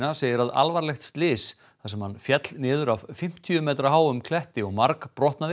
segir að alvarlegt slys þar sem hann féll niður af fimmtíu metra háum kletti og